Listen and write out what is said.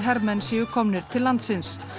hermenn séu komnir til landsins